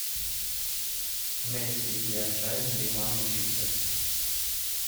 месси и аршавин реклама чипсов